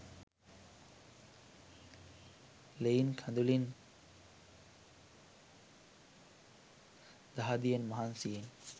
ලෙයින් කඳුලින් දහදියෙ මහන්සියෙන්.